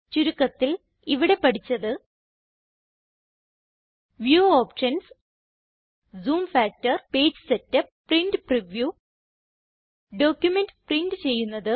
ചുരുക്കത്തിൽ ഇവിടെ പഠിച്ചത് view options zoom factor page setup print preview document print ചെയ്യുന്നത്